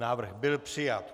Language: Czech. Návrh byl přijat.